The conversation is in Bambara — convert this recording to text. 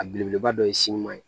A belebeleba dɔ ye sin ɲuman ye